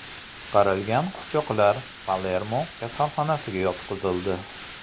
Qutqarilgan qochoqlar Palermo kasalxonasiga yotqizildi.